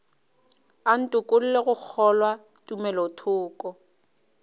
a ntokolle go kgolwa tumelothoko